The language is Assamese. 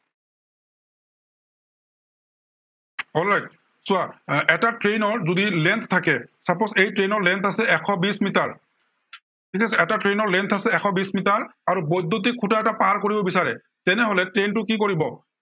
alright চোৱা আহ এটা train ৰ যদি length থাকে, suppose এই train ৰ length আছে এশ বিশ মিটাৰ ঠিক আছে, এটা train ৰ length আছে এশ বিশ মিটাৰ আৰু বৈদ্য়ুটিক খুটা এটা পাৰ কৰিব বিচাৰে, তেনেহলে train টো কি কৰিব